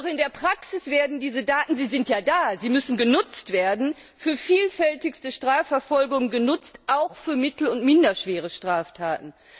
Doch in der Praxis werden diese Daten sie sind ja da, sie müssen genutzt werden für vielfältigste Strafverfolgung genutzt, auch bei mittel und minderschweren Straftaten.